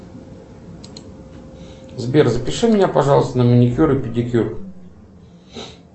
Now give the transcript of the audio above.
сбер запиши меня пожалуйста на маникюр и педикюр